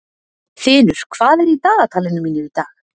Þinur, hvað er í dagatalinu mínu í dag?